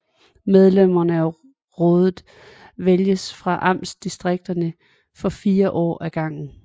Medlemmerne af rådet vælges fra amtsdistrikter for fire år ad gangen